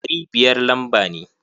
Ɗari biyar lamba ne.